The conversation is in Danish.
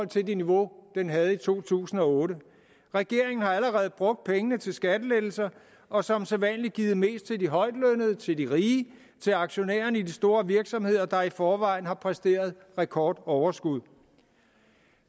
til det niveau den havde i to tusind og otte regeringen har allerede brugt pengene til skattelettelser og som sædvanlig givet mest til de højtlønnede til de rige til aktionærerne i de store virksomheder der i forvejen har præsteret rekordoverskud